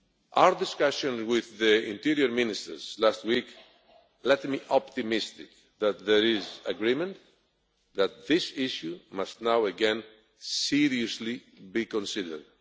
Our discussion with the Interior Ministers last week left me optimistic that there is agreement that this issue must now again be seriously considered.